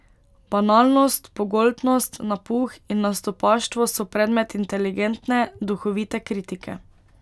Banalnost, pogoltnost, napuh in nastopaštvo so predmet inteligentne, duhovite kritike.